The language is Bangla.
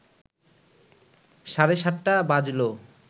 সাড়ে সাতটা বাজলো